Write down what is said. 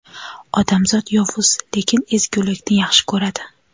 Odamzot yovuz, lekin ezgulikni yaxshi ko‘radi.